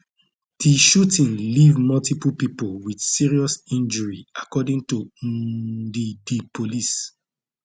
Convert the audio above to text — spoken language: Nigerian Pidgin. di shooting leave multiple pipo wit serious injury according to um di di police